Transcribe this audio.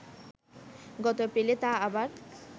গত এপ্রিলে তা আবার